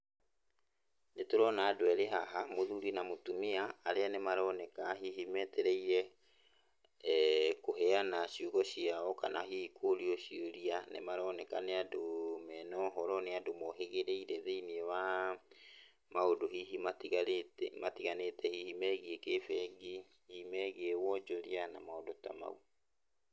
Nĩ tũrona andũ erĩ haha, mũthuri na mũtũmia arĩa nĩ maroneka hihi meetereire kũheana ciugo ciao kana hihi kũũrio ciũria. Nĩ maroneka nĩ andũ mena ũhoro, nĩ andũ moohĩgĩrĩire thĩiniĩ wa maũndũ hihi matigarĩte, matiganĩte hihi megiĩ kĩbengi, megiĩ wonjoria na maũndũ ta mau.